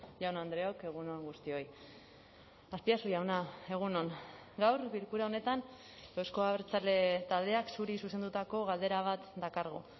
jaun andreok egun on guztioi azpiazu jauna egun on gaur bilkura honetan euzko abertzale taldeak zuri zuzendutako galdera bat dakargu